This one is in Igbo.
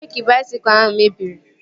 Breeki baisikụl ahụ mebiri